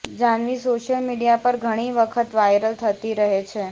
Janhvi social media પર ઘણી વખત વાયરલ થતી રહે છે